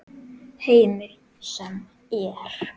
Heimir: Sem er?